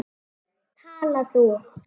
Tala þú.